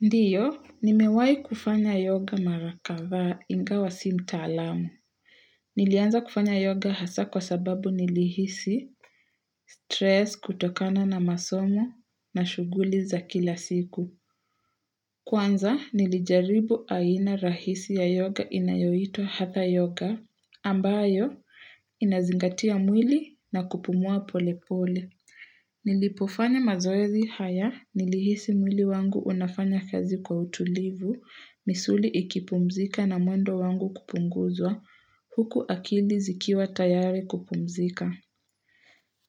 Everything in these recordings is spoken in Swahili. Ndio, nimewahi kufanya yoga mara kadha ingawa si mtaalamu. Nilianza kufanya yoga hasa kwa sababu nilihisi, stress kutokana na masomo na shughuli za kila siku. Kwanza, nilijaribu aina rahisi ya yoga inayoitwa hatha yoga, ambayo inazingatia mwili na kupumua pole pole. Nilipofanya mazoezi haya nilihisi mwili wangu unafanya kazi kwa utulivu, misuli ikipumzika na mwendo wangu kupunguzwa, huku akili zikiwa tayari kupumzika.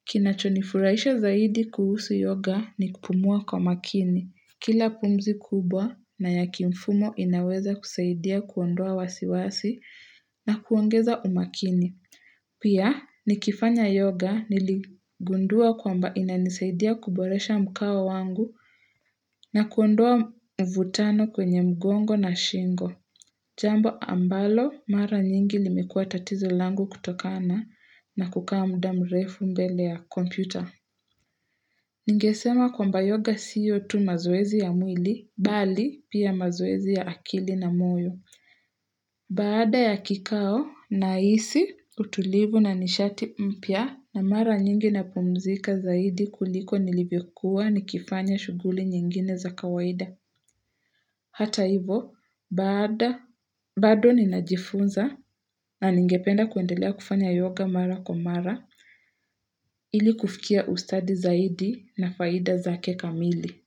Kinachonifurahisha zaidi kuhusu yoga ni kupumua kwa makini. Kila kumzi kubwa na ya kimfumo inaweza kusaidia kuondoa wasiwasi na kuongeza umakini. Pia, nikifanya yoga niligundua kwamba inanisaidia kuboresha mkao wangu na kuondua mvutano kwenye mgongo na shingo. Jambo ambalo mara nyingi limekuwa tatizo langu kutokana na kukaa muda mrefu mbele ya kompyuta. Ningesema kwamba yoga siyo tu mazoezi ya mwili, bali pia mazoezi ya akili na moyo. Baada ya kikao nahisi utulivu na nishati mpya na mara nyingi napumzika zaidi kuliko nilivyokuwa nikifanya shughuli nyingine za kawaida. Hata hivo baada bado ninajifunza na ningependa kuendelea kufanya yoga mara kwa mara ili kufikia ustadi zaidi na faida zake kamili.